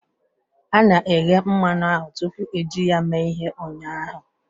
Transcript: A na-eghe mmanụ ahụ tupu eji ya eme ihe ụnyaahụ